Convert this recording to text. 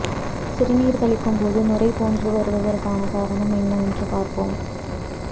சிறுநீர் கழிக்கும் போது நுரை போன்று வருவதற்கு காரணம் என்னவென்று பார்ப்போம்